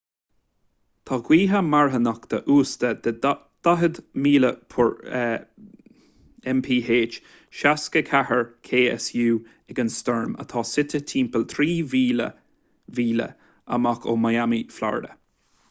tá gaotha marthanacha uasta de 40 mph 64 ksu ag an stoirm atá suite timpeall 3,000 míle amach ó miami florida